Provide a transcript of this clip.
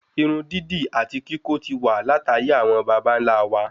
Irun dídì àti kikó ti wa lataye àwọn bàbá nlá wa